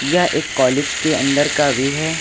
यह एक कॉलेज के अंदर का व्यू है।